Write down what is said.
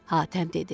Hatəm dedi.